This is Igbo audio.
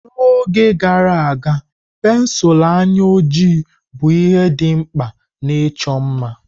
N'oge gara aga, pensụl anya ojii bụ ihe dị mkpa na icho mma.